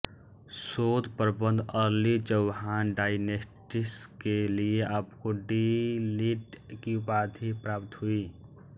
शोध प्रबंध early Chauhan dynasties के लिए आपको डी लिट् की उपाधि प्राप्त हुई